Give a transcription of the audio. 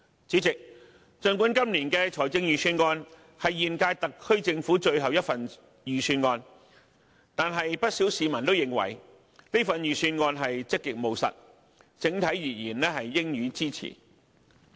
主席，儘管今年的預算案是現屆特區政府的最後一份預算案，但不少市民都認為此份預算案積極務實，整體而言應予支持。